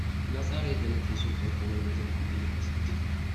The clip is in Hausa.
Na tsara yadda nake so kamfanin da zan buɗe ya kasance.